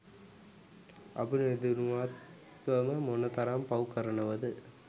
අපි නොදැනුවත්ම මොන තරම් පව් කරනවද